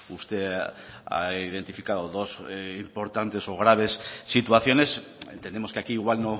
usted ha identificado dos importantes o graves situaciones entendemos que aquí igual